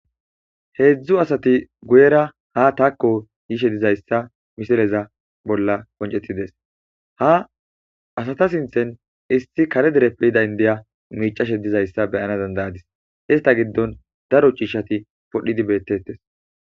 heedzdzu asati guyera ha taakko yishe dizayssa misileza bolla koncettides ha asata sinthen issi kare dereppe yida indiya miicashe dizayssa beyana dandayadis hista giddon daro chiishati podhdhidi beettettes